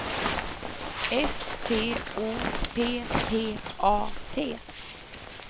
S T O P P A T